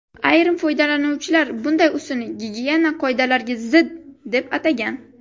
Ayrim foydalanuvchilar bunday usulni gigiyena qoidalariga zid, deb atagan.